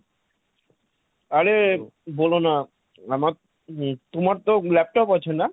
আরে বলোনা, আমার~ উম তোমার তো laptop আছে না?